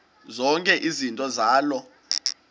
zonke izinto zaloo